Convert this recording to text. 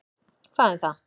Hvað um það.